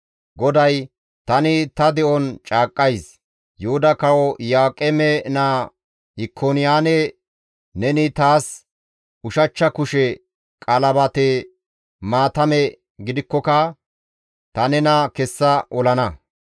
GODAY, « ‹Tani ta de7on caaqqays› Yuhuda kawo Iyo7aaqeme naa Ikoniyaane neni taas ushachcha kushe qalabate maatame gididaakkoka ta nena kessa olana.